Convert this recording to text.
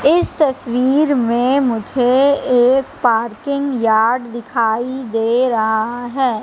इस तस्वीर में मुझे एक पार्किंग यार्ड दिखाई दे रहा है।